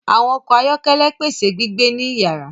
Àwọn ọkọ ayọkẹlẹ pèsè gbígbé ní iyara